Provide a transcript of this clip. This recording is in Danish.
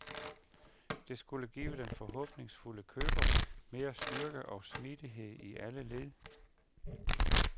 Det skulle give den forhåbningsfulde køber mere styrke og smidighed i alle led.